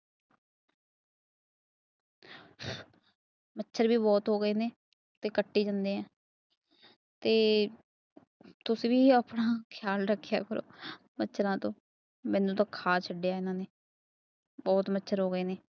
ਮੱਛਰ ਵੀ ਬਹੁਤ ਹੋ ਗਏ ਨੇ ਤੇ ਕੱਟੀ ਜਾਣੀ ਐ। ਤੇ ਤੁਸੀਂ ਵੀ ਆਪਣਾ ਖਿਆਲ ਰੱਖਿਆ ਕਰੋ ਮੱਛਰਾਂ ਤੋਂ। ਮੈਨੂੰ ਤਾਂ ਖਾ ਛੱਡਿਆ ਇਹਨਾਂ ਨੇ। ਬਹੁਤ ਮੱਛਰ ਹੋ ਗਏ ਨੇ ਗਏ ਨੇ।